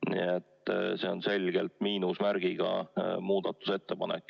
Nii et see on eelarve kontekstis selgelt miinusmärgiga muudatusettepanek.